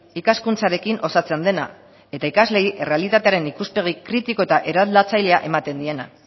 ikaskuntzarekin osatzen dena eta ikasleei errealitatearen ikuspegi kritiko eta eraldatzailea ematen diena